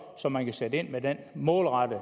så man kan sætte ind med en målrettet